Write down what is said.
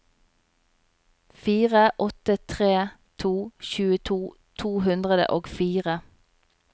fire åtte tre to tjueto to hundre og fire